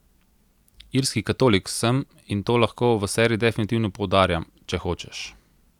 Irski katolik sem, in to lahko v seriji definitivno poudarjam, če hočeš.